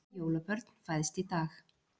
Tvö jólabörn fæðst í dag